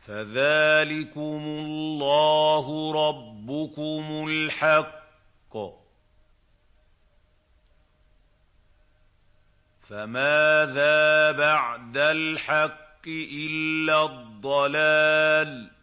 فَذَٰلِكُمُ اللَّهُ رَبُّكُمُ الْحَقُّ ۖ فَمَاذَا بَعْدَ الْحَقِّ إِلَّا الضَّلَالُ ۖ